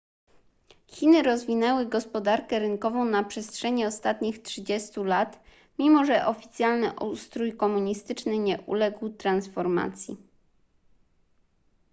chiny rozwinęły gospodarkę rynkową na przestrzeni ostatnich 30 lat mimo że oficjalny ustrój komunistyczny nie uległ transformacji